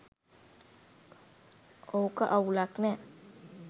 ඔක අවුලක් නෑ.